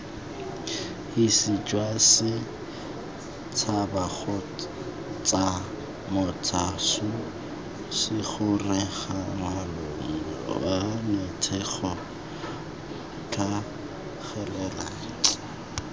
hisijwasets habakgotsamots huts hisigoreangwanaotshwanetsego tlhagelela